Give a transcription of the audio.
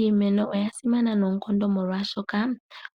Iimeno oya simana noonkondo molwaashoka